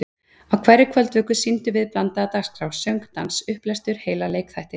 Á hverri kvöldvöku sýndum við blandaða dagskrá: söng, dans, upplestur, heila leikþætti.